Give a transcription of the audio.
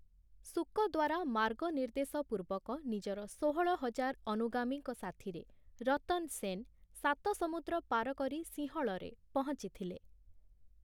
ଶୁକ ଦ୍ୱାରା ମାର୍ଗନିର୍ଦ୍ଦେଶ ପୂର୍ବକ ନିଜର ଷୋହଳ ହଜାର ଅନୁଗାମୀଙ୍କ ସାଥିରେ ରତନ୍‌ ସେନ୍‌ ସାତ ସମୁଦ୍ର ପାର କରି ସିଂହଳରେ ପହଞ୍ଚିଥିଲେ ।